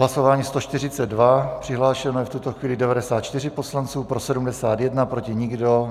Hlasování 142, přihlášeno je v tuto chvíli 94 poslanců, pro 71, proti nikdo.